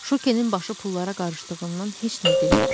Şukinin başı pullara qarışdığından heç nə demir.